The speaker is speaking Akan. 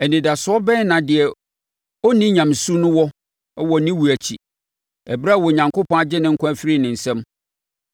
Anidasoɔ bɛn na deɛ ɔnni nyamesu no wɔ wɔ ne wuo akyi, ɛberɛ a Onyankopɔn agye ne nkwa afiri ne nsam?